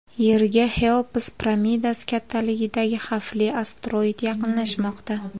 Yerga Xeops piramidasi kattaligidagi xavfli asteroid yaqinlashmoqda.